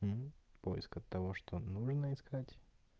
поиск от того что нужно искать